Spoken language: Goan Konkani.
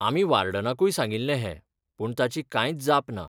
आमी वार्डनाकूय सांगिल्लें हें पूण ताची कांयच जाप ना.